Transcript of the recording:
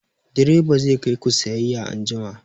Direba zai kai ku sayayya anjima!